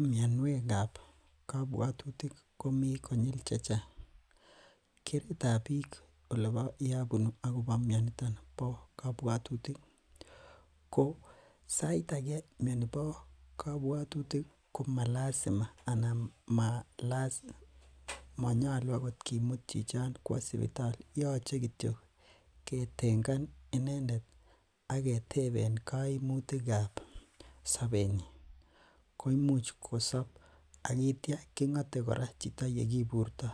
Mianiuekab kabuatutik komi konyil chechang. Keretab bik akobo mianitan ko saait age miani bo kabuatutik ih ko malazima ko manyalu akoth kimuut chichon kwo sipitali. Yoche kityok ketengan inendet aketeben kaimuut chebo sabet nyin. Koi much kosob ak aitia keng'ate kora yekiburta.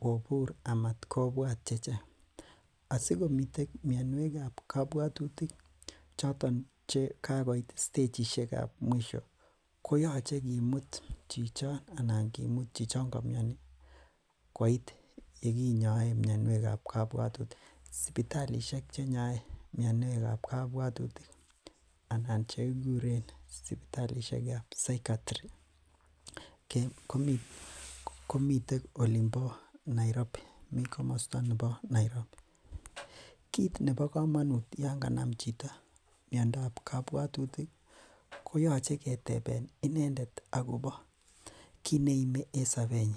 Kobur amatkobwat chechang. Asiko miten mianuakab kabuatutik chechoton ko kakoit stechit nebo mwisho koyache kimuut chichon kamiani koit yekinyoen mianiuekab kabuatutik, sipitilishek chenyae mianuakab kabuatutik anan chekikuren sipitalitab psychiatry kit nebo kamanut Yoon ksnam chito miandob kabuatutik ih koyache keteben inendet akopo kineime en sabet nyin.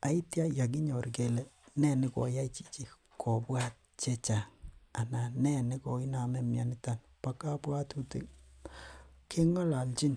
Aitya yekinyor kele nee nekoyai chichi kobut chechang anan nee nekoname mianito ba kabuatutik. Keng'alalnchin.